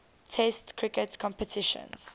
test cricket competitions